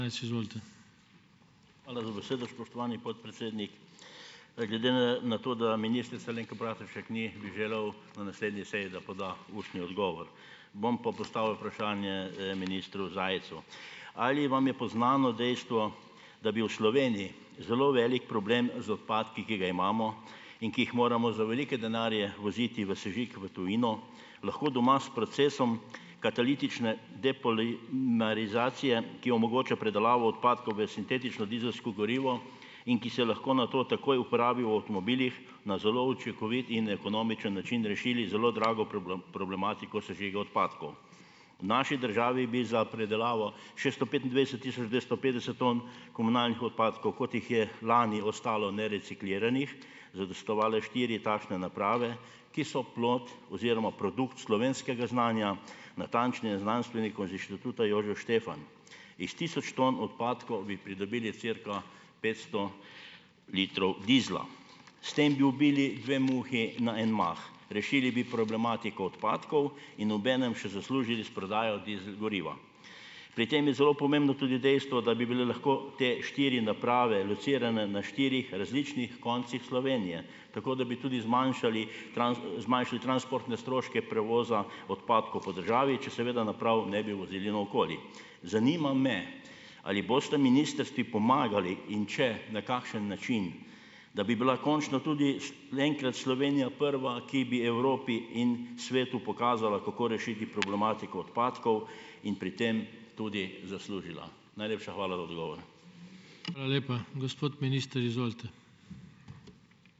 Hvala za besedo, spoštovani podpredsednik. Glede na na to, da ministrice Alenke Bratušek ni, bi želel na naslednji seji, da poda ustni odgovor. Bom pa postavil vprašanje, ministru Zajcu. Ali vam je poznano dejstvo, da bi v Sloveniji zelo velik problem z odpadki, ki ga imamo in ki jih moramo za velike denarje voziti v sežig v tujino, lahko doma s procesom katalitične depolimerizacije, ki omogoča predelavo odpadkov v sintetično dizelsko gorivo in ki se lahko nato takoj uporabi v avtomobilih, na zelo učinkovit in ekonomičen način rešili zelo drago problematiko sežiga odpadkov. V naši državi bi za predelavo šeststo petindvajset tisoč dvesto petdeset ton komunalnih odpadkov, kot jih je lani ostalo nerecikliranih, zadostovale štiri takšne naprave, ki so plod oziroma produkt slovenskega znanja, natančneje znanstvenikov z Inštituta Jožef Stefan. Iz tisoč ton odpadkov bi pridobili cirka petsto litrov dizla. S tem bi ubili dve muhi na en mah. Rešili bi problematiko odpadkov in obenem še zaslužili s prodajo dizel goriva. Pri tem je zelo pomembno tudi dejstvo, da bi bile lahko te štiri naprave locirane na štirih različnih koncih Slovenije, tako da bi tudi zmanjšali zmanjšali transportne stroške prevoza odpadkov po državi, če seveda naprav ne bi vozili naokoli. Zanima me, ali bosta ministrstvi pomagali, in če, na kakšen način. Da bi bila končno tudi enkrat Slovenija prva, ki bi Evropi in svetu pokazala, kako rešiti problematiko odpadkov in pri tem tudi zaslužila. Najlepša hvala za odgovor.